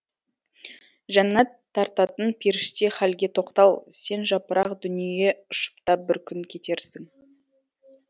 жәннәт тартатын періште халге тоқтал сен жапырақ дүние ұшып та бір күн кетерсің